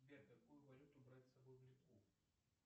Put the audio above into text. сбер какую валюту брать с собой в литву